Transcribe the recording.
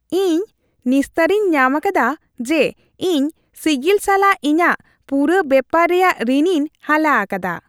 ᱤᱧ ᱱᱤᱥᱛᱟᱹᱨᱤᱧ ᱧᱟᱢ ᱟᱠᱟᱫᱟ ᱡᱮ ᱤᱧ ᱥᱤᱜᱤᱞ ᱥᱟᱞᱟᱜ ᱤᱧᱟᱜ ᱯᱩᱨᱟᱹ ᱵᱮᱯᱟᱨ ᱨᱮᱭᱟᱜ ᱨᱤᱱᱤᱧ ᱦᱟᱞᱟ ᱟᱠᱟᱫᱟ ᱾